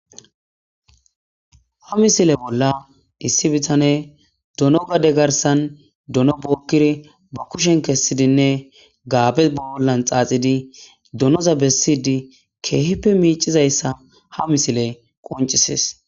ha misile bolla issi bitane dono gade garsan dono bookkiri ba kushen kessidinne gaabe baollan xaaxidi donoza bessidi keehippe miicizayssa ha misile qoncisis